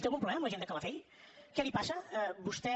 té algun problema amb la gent de calafell què li passa vostè